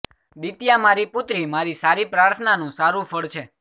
દિત્યા મારી પુત્રી મારી સારી પ્રાર્થનાનું સારૂ ફળ છે